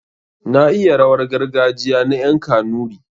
Na iya rawar gargajiya na ƴan kanuri.